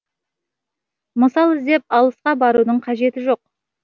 мысал іздеп алысқа барудың қажеті жоқ